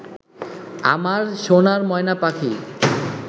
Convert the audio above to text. আমার সোনার ময়না পাখি